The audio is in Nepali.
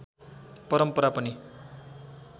परम्परा पनि